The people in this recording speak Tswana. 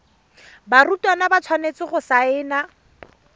barutwana ba tshwanetse go saena